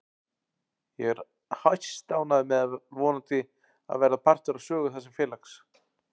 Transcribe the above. Ég er hæstánægður með að vonandi að verða partur af sögu þessa félags.